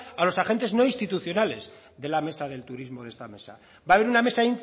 a los agentes no institucionales de la mesa del turismo de esta mesa va a haber una mesa